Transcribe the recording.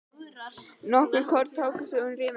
Nokkur korn láku út um rifuna.